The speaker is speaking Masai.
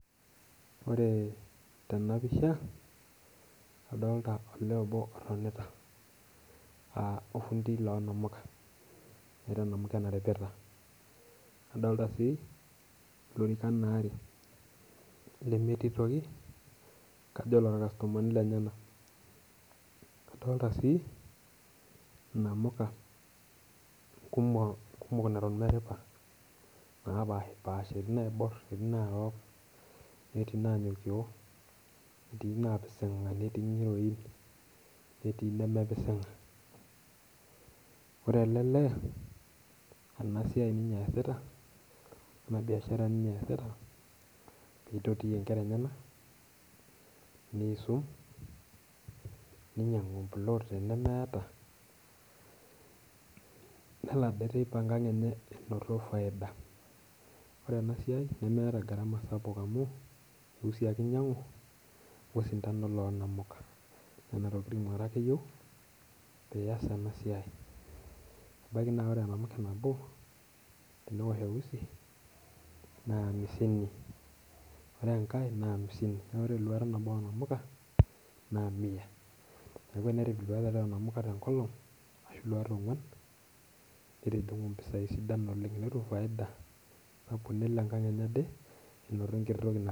Ore tena pisha, adolta olee obo otonita, orfundi loo namuka, oripata namuka, nadolita sii, ilorikan aarare. lemetii toki. kajo iloorkastomani. lenyenak. nadolta sii inamuka, kumok neton meripa. naapashipaasha. etii naarok, etii nnanyokio. etii naapisinga. netii ngiroin. nemepisinga. ore ele lee ena siai ninye eesita. ena biashara ninye eesita, nitoti nkera enyenak, niisum, ninyiangu empulot tenemeeta. nelo Ade teipa enkang enye enoto faida. ore ena siai ,eusi ake inyiang'u osintanooonamuka. nena tokitin are ake iyieu pee iyas ena siai. ebaiki naa ore enamuke nabo, teneosh eusi naa amisini. ore enkae naa amisini. naa ore iluat tomon, naa miya .elelek etum mpisai sidan oleng. netum faida. nelo ankang enye ade enoto enkiti toki.